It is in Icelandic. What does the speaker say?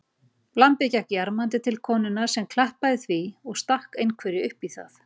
Lambið gekk jarmandi til konunnar sem klappaði því og stakk einhverju uppí það.